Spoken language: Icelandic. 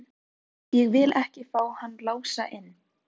Þó hef ég ekkert á móti konunni í mátulegri fjarlægð.